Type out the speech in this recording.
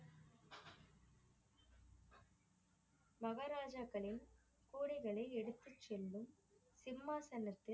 மகாராஜாக்களின் கோடைகளை எடுத்து செல்லும் சிம்மாசனத்தில்